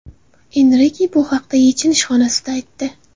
Enrike bu haqda yechinish xonasida aytdi.